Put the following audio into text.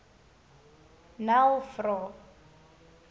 nel vra